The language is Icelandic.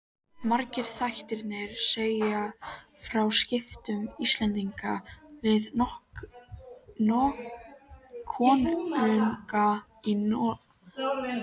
Margir þættirnir segja frá skiptum Íslendinga við konunga í Noregi.